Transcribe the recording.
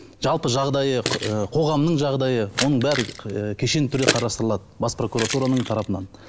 жалпы жағдайы қоғамның жағдайы оның бәрі кешенді түрде қарастырылады бас прокуратураның тарапынан